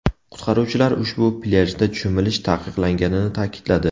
Qutqaruvchilar ushbu plyajda cho‘milish taqiqlanganini ta’kidladi.